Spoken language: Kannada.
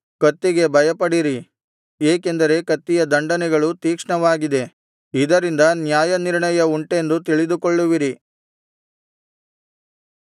ಕತ್ತಿಗೆ ಭಯಪಡಿರಿ ಏಕೆಂದರೆ ಕತ್ತಿಯ ದಂಡನೆಗಳು ತೀಕ್ಷ್ಣವಾಗಿದೆ ಇದರಿಂದ ನ್ಯಾಯನಿರ್ಣಯವುಂಟೆಂದು ತಿಳಿದುಕೊಳ್ಳುವಿರಿ